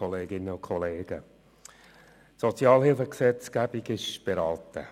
Die Sozialhilfegesetzgebung ist beraten.